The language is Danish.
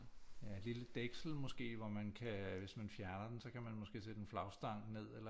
Ja et lille dæksel måske hvor man kan hvis man fjerner den så kan man måske sætte en flagstang eller